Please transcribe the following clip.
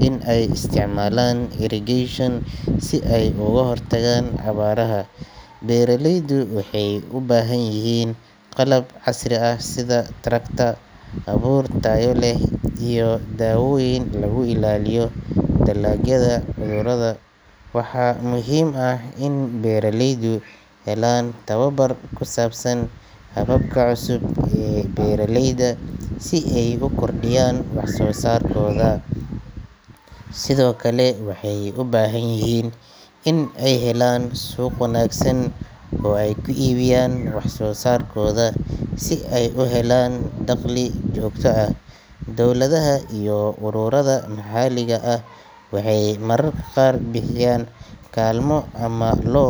inay isticmaalaan irrigation si ay uga hortagaan abaaraha. Beeraleydu waxay u baahan yihiin qalab casri ah sida tractor, abuur tayo leh, iyo daawooyin lagu ilaaliyo dalagyada cudurrada. Waxaa muhiim ah in beeraleydu helaan tababar ku saabsan hababka cusub ee beeraleyda si ay u kordhiyaan wax soo saarkooda. Sidoo kale, waxay u baahan yihiin inay helaan suuq wanaagsan oo ay ku iibiyaan wax soo saarkooda si ay u helaan dakhli joogto ah. Dowladaha iyo ururada maxalliga ah waxay mararka qaar bixiyaan kaalmo ama loan.